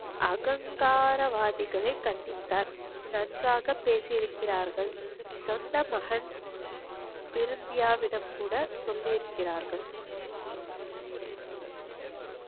அகங்காரவாதிகளை கண்டித்தார் நன்றாக பெசிருக்கிரார்கள் சொந்த மகன் சொல்லிருக்கிறார்கள்